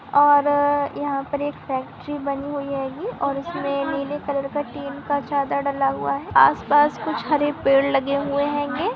और अ-अ-अ-यहाँ पर एक फैक्ट्री बनी हुई है गी और इसमें नीले कलर का टीन का चादर डला हुआ है। आस पास कुछ हरे पेड़ लगे हुए हेगे।